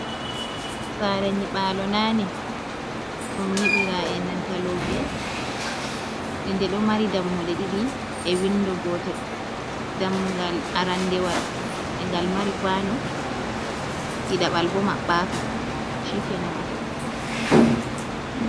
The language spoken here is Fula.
Sare nyiɓalo nane ɗum nyiɓira enanta lope e ndeɗo mari dammuɗe ɗiɗi e windo gotel, dammugal arandewal e ngal mari kwano ɗi ɗaɓal bo maɓɓaka shikenan ai.